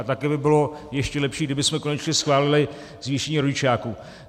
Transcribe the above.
A taky by bylo ještě lepší, kdybychom konečně schválili zvýšení rodičáku.